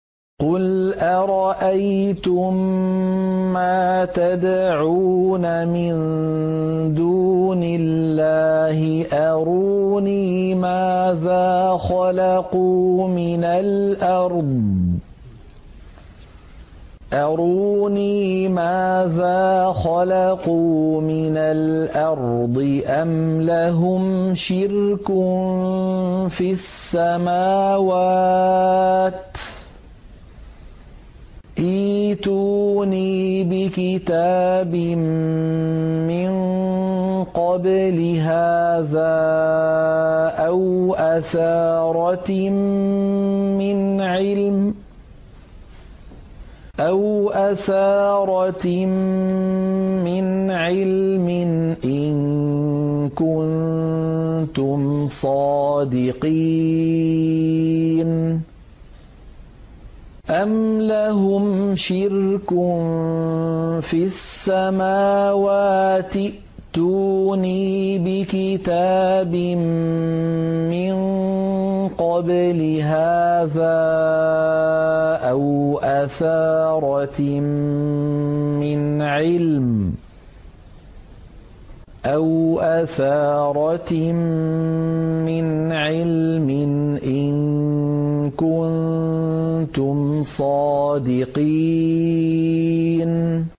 قُلْ أَرَأَيْتُم مَّا تَدْعُونَ مِن دُونِ اللَّهِ أَرُونِي مَاذَا خَلَقُوا مِنَ الْأَرْضِ أَمْ لَهُمْ شِرْكٌ فِي السَّمَاوَاتِ ۖ ائْتُونِي بِكِتَابٍ مِّن قَبْلِ هَٰذَا أَوْ أَثَارَةٍ مِّنْ عِلْمٍ إِن كُنتُمْ صَادِقِينَ